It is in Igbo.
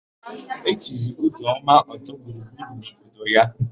E chiri Ụzọma Ọ́zọ́gburugburu n'obodo ya.